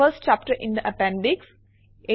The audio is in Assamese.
first chapter in the appendix